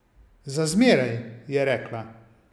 Za zmeraj, je rekla.